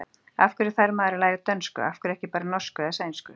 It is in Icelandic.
Af hverju þarf maður að læra dönsku, af hverju ekki bara norsku eða sænsku?